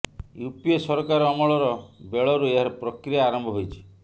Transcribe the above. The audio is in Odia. ୟୁପିଏ ସରକାର ଅମଳର ବେଳରୁ ଏହାର ପ୍ରକ୍ରିୟା ଆରମ୍ଭ ହୋଇଛି